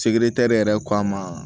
Segere tɛrɛri yɛrɛ k'a ma